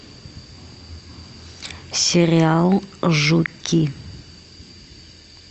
сериал жуки